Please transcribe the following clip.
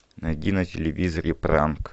найди на телевизоре пранк